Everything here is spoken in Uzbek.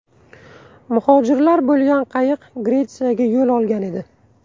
Muhojirlar bo‘lgan qayiq Gretsiyaga yo‘l olgan edi.